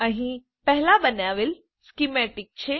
અહીં પહેલાં બનાવેલ સ્કીમેતિક છે